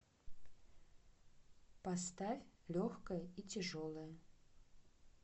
поставь легкое и тяжелое